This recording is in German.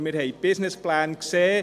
Wir haben die Businesspläne gesehen.